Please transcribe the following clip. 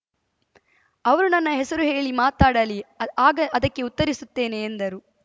ಅವರು ನನ್ನ ಹೆಸರು ಹೇಳಿ ಮಾತಾಡಲಿ ಆಗ ಅದಕ್ಕೆ ಉತ್ತರಿಸುತ್ತೇನೆ ಎಂದರು